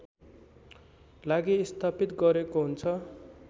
लागि स्थापित गरेको हुन्छ